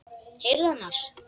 Heyrðu annars.